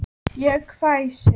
Ég hvæsi.